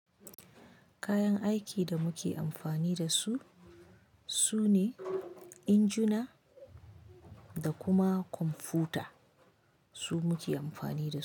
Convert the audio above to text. Kayan aikin da muke amfani da su su ne injuna da kuma kwamfuta. Su muke amfani da su.